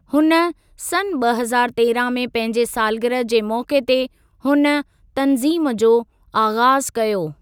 हुन सन् ॿ हज़ारु तेरहं में पंहिंजे सालगिरह जे मौके ते हुन तनज़ीम जो आग़ाजु कयो।